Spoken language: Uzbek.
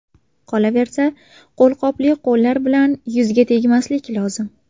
Qolaversa, qo‘lqopli qo‘llar bilan yuzga tegmaslik lozim.